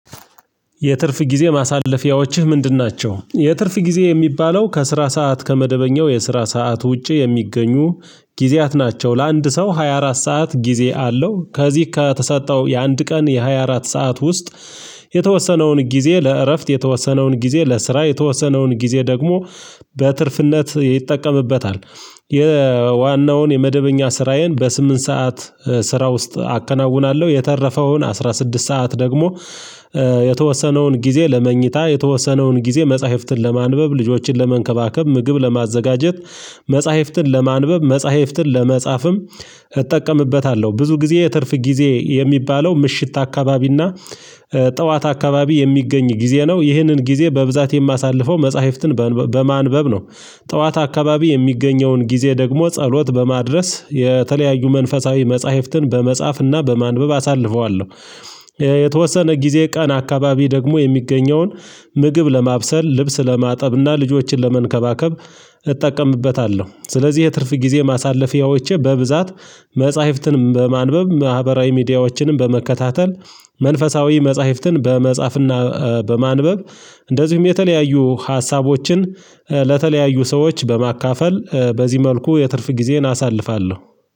የትርፍ ጊዜ ማሳለፊያዎችህ ምንድን ናቸው? የትርፍ ጊዜ የሚባለው ከስራ ሰዓት ከመደበኛው የስራ ሰዓት ውጪ የሚገኙ ጊዜያት ናቸው ለአንድ ሰው ሃያ አራት ሰዓት ጊዜ አለው ከዚህ ከተሰጠው የአንድ ቀን የሃያ አራት ሰዓት ውስጥ የተወሰነውን ጊዜ ለእረፍት የተወሰነውን ጊዜ ለስራ የተወሰነውን ጊዜ ደግሞ በትርፍነት ይጠቀምበታል። የዋናውን የመደበኛ ስራዬን በስምንት ሰዓት ስራ ውስጥ አከናውናለሁ። የተረፈውን አስራ ስድስት ሰዓት ደግሞ የተወሰነውን ጊዜ ለመኝታ የተወሰነውን ጊዜ መጽሐፍትን ለማንበብ ልጆችን ለመንከባከብ ምግብ ለማዘጋጀት መጽሐፍትን ለማንበብ መጽሐፍትን ለመጻፍም እጠቀምበታለሁ። ብዙ ጊዜ የትርፍ ጊዜ የሚባለው ምሽት አካባቢና ጠዋት አካባቢ የሚገኝ ጊዜ ነው። ይህንን ጊዜ በብዛት የማሳልፈው መጽሐፍትን በማንበብ ነው። ጠዋት አካባቢ የሚገኘውን ጊዜ ደግሞ ጸሎት በማድረስ የተለያዩ መንፈሳዊ መጽሐፍትን በመጻፍና በማንበብ አሳልፈዋለሁ። የተወሰነ ጊዜ ቀን አካባቢ ደግሞ የሚገኘውን ምግብ ለማብሰል ልብስ ለማጠብና ልጆችን ለመንከባከብ እጠቀምበታለሁ። ስለዚህ የትርፍ ጊዜ ማሳለፊያዎቼ በብዛት መጽሐፍትንም በማንበብ ማህበራዊ ሚዲያዎችንም በመከታተል መንፈሳዊ መጽሐፍትን በመጻፍና በማንበብ እንደዚሁም የተለያዩ ሀሳቦችን ለተለያዩ ሰዎች በማካፈል በዚህ መልኩ የትርፍ ጊዜን አሳልፋለሁ።